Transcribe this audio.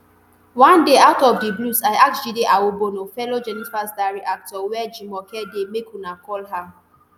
one day out of di blues i ask jide awobona fellow jenifas diary actor wia jumoke dey make una call her